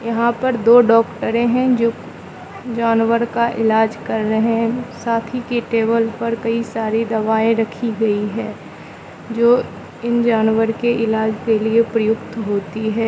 यहां पर दो डॉक्टर हैं जो जानवर का इलाज कर रहे हैं साथ ही के टेबल पर कई सारी दवाएं रखी गई है जो इन जानवर के इलाज के लिए प्रयुक्त होती है।